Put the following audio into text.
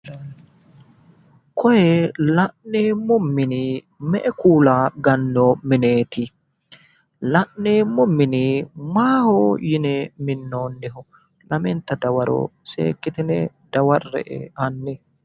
Koye la'neemmo mini me"e kuula gannooy mineeti? La'neemmo mini maaho yine minnoonniho? Lamenta dawaro seekkitine dawarre'e hanni.